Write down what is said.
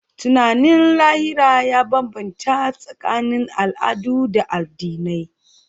Tunanin lahira ya bambanta tsakanin al'adu da addinai.